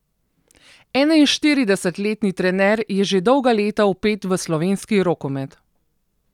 Enainštiridesetletni trener je že dolga leta vpet v slovenski rokomet.